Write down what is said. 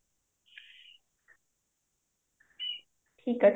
ଠିକ ଅଛି